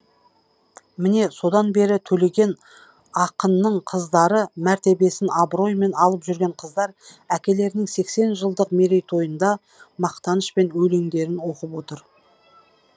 міне содан бері төлеген ақынның қыздары мәртебесін абыроймен алып жүрген қыздар әкелерінің сексен жылдық мерейтойында мақтанышпен өлеңдерін оқып отыр